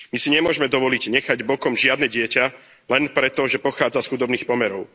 My si nemôžeme dovoliť nechať bokom žiadne dieťa len preto, že pochádza z chudobných pomerov.